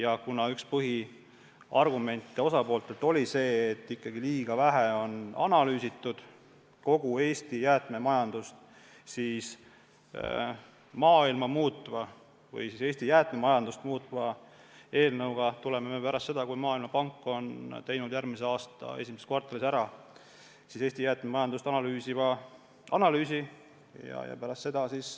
Aga kuna üks osapoolte põhiargumente on olnud see, et liiga vähe on analüüsitud kogu Eesti jäätmemajandust, siis me maailma muutva või siis Eesti jäätmemajandust muutva eelnõuga tuleme välja pärast seda, kui Maailmapank on teinud järgmise aasta esimeses kvartalis ära Eesti jäätmemajanduse analüüsi.